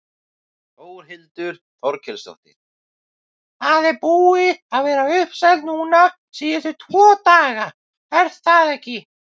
Þórhildur Þorkelsdóttir: Það er búið að vera uppselt núna síðustu tvo daga, er það ekki?